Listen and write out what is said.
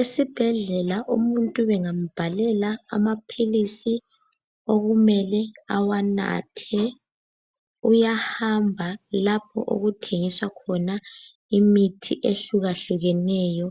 Esibhedlela umuntu bengambhalela amaphilisi okumele awanathe, uyahamba lapho okuthengiswa khona imithi ehlukahlukeneyo